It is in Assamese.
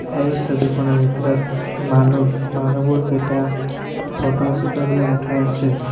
এই ছবিখনত ভিতৰত মানুক মানুহবোৰ কেইটা ফটো চটো বিলাক উঠাই আছে।